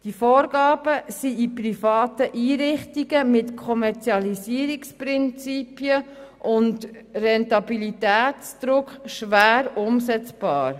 Die Vorgaben sind in privaten Einrichtungen mit Kommerzialisierungsprinzipien und Rentabilitätsdruck schwer umsetzbar.